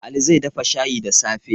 Ali zai dafa shayi da safe.